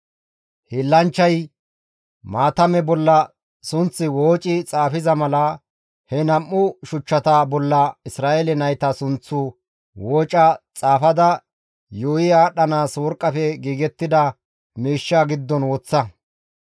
Hiillanchchay maatame bolla sunth wooci xaafiza mala, he nam7u shuchchata bolla Isra7eele nayta sunththu wooca xaafada yuuyi aadhdhanaas worqqafe giigettida miishsha giddon woththa.